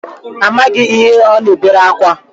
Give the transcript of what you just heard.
Amaghị m ihe ọ na-ebere akwa